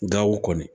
Gawo kɔni